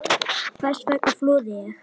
Hvers vegna flúði ég?